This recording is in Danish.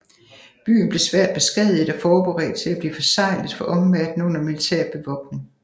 Byen blev svært beskadiget og forberedt til at blive forseglet for omverdenen under militær bevogtning